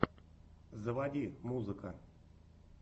заводи музыка